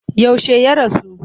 Yaushe ya rasu?